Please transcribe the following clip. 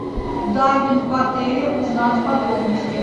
дайвинг в отеле узнать подробности